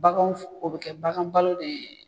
Baganw f o be kɛ bagan balo dee